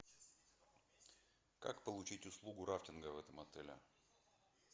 как получить услугу рафтинга в этом отеле